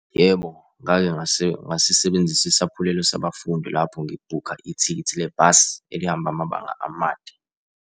Yebo, ngake ngasisebenzisa isaphulelo sabafundi lapho ngibhukha ithikithi lebhasi elihamba amabanga amade.